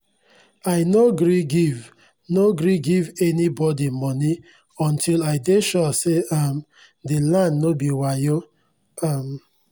i nor gree give nor gree give any bodi moni unti i dey sure say um the land no be wayo um